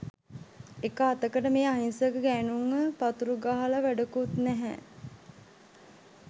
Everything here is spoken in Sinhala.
එක අතකට මේ අහිංසක ගෑනුන්ව පතුරුගහලා වැඩකුත්නැහැ